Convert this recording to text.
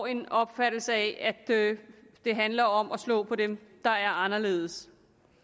en opfattelse af at det handler om at slå på dem der er anderledes